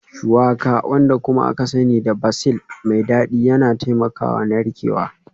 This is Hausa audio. Shuwaka, wanda kuma aka sani da basil mai dadi yana taimakawa narkewa